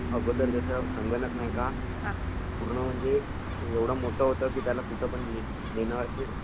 पूर्ण म्हणजे एवढा मोठा होता की त्याला कुठं पण नेण शक्य नव्हते..